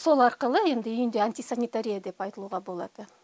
сол арқылы енді үйінде антисанитария деп айтылуға болады